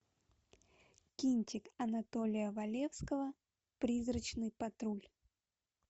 кинчик анатолия валецкого призрачный патруль